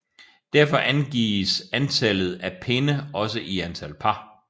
Derfor angives antalles af pinde også i antal par